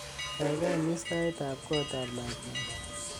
gaigai imis tait ab koot ab lakwenyun